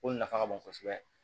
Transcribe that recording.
O nafa ka bon kosɛbɛ